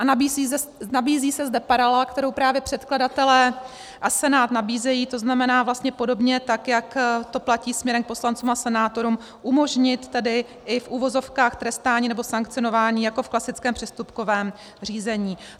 A nabízí se zde paralela, kterou právě předkladatelé a Senát nabízejí, to znamená vlastně podobně tak, jak to platí směrem k poslancům a senátorům, umožnit tedy i v uvozovkách trestání nebo sankcionování jako v klasickém přestupkovém řízení.